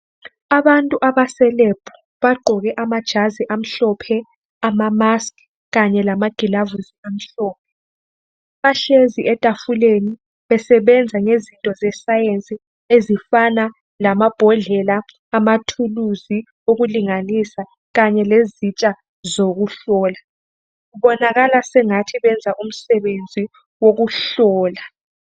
Abantu abaselebhu bagqoke amajazi amhlophe, amamaski kanye lamagilavisi amhlophe. Bahlezi etafuleni besebenza ngezinto zesayensi ezifana lamabhodlela, amathuluzi, ukulinganisa kanye lezitsha zokuhlola. Kubonakala sengathi benza umsebenzi wokuhlola.